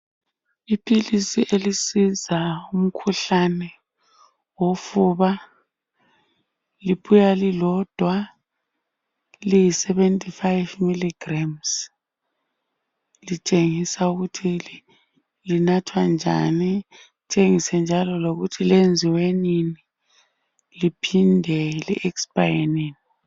Iphilisi elisiza umkhuhlane wofuba liphiwa lilodwa liyi 75 mg litshengisa ukuthi linathwa njani litshengisa njalo lokuthi lenziwe nini liphinde li expaye nini.